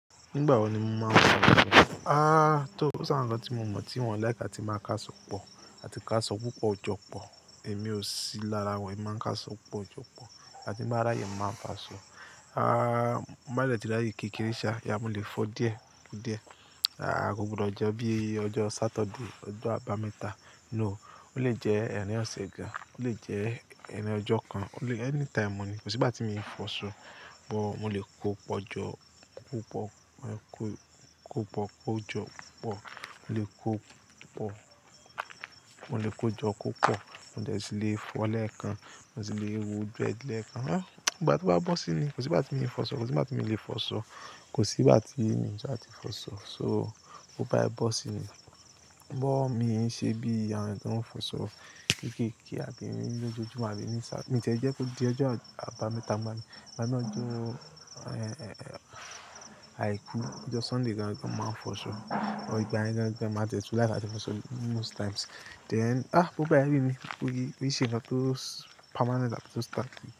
Nígbà wo ni mo máa ń sọ̀rọ̀? Ah, tó, ó ṣàárín kan tí mo mọ̀ tí wọ́n like àti máa ń káàsọ pọ̀ àti káàsọ púpọ̀, jọ pọ̀. Èmi ò sí lára wọn, èmi máa ń káàsọ pọ̀, jọ pọ̀ àti bá rá yẹ máa ń fà á sọ. Ah, mo má lè tìráyè kí kíríṣíà, ìyá wọn lè fọ́ díẹ̀, díẹ̀. Ah, gbogbo ọjọ́ bí i ọjọ́ Saturday, ọjọ́ àbámẹ́ta, no. Ó lè jẹ́ ẹran ọ̀sìn gan, ó lè jẹ́ ẹran ọjọ́ kan, ó lè-- any time mo ní. Kò sí ìgbà tí mo ì fọ̀ṣọ́. Bọ̀, mo lè kó pọ̀ ọjọ́ púpọ̀, mo lè kó kó pọ̀ kó ọjọ́ pọ̀, mo lè kó pọ̀, mo lè kó jọ́ kó pọ̀, mo lè tìlè fọ̀ọ́ lẹ́ẹ̀kan, mo sì lè wo bread lẹ́ẹ̀kan. Ah, ìgbà tí ó bá bọ́ sí ni, kò sí ìgbà tí mo ì fọ̀ṣọ́, kò sí ìgbà tí mo lè fọ̀ṣọ́, kò sí ìgbà tí mo ṣe àti fọ̀ṣọ́. So, ó bá bọ́ sí ni. Ṣé bí i àwọn tó ń fọ̀ṣọ́ kéékèé àbí ní lójoojúmọ́ àbí ní sá-- mo jẹ̀ ẹ́ jẹ́ kó di ọjọ́ àbámẹ́ta máa bí, bá ti lọ jó e e e àìkú, ọjọ́ Sunday gan gan máa fọ̀ṣọ́. Ò ìgbà ẹni kan gan máa tẹ́tí láti fọ̀ṣọ́ most times. Then, ah, bó bá yẹ mí mí kó yí, kó ṣe náà tó permanent àti tó stable.